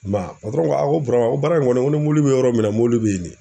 I m'a ye n ko Burama n ko baara in kɔni n ko ni mɔbili bi yɔrɔ min na mɔbili bɛ nin